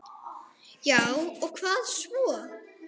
Já og hvað svo!